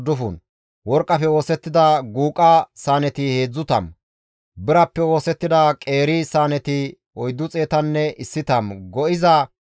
Worqqafe oosettida guuqa saaneti 30 birappe oosettida qeeri saaneti 410 go7iza hara miishshati 1,000.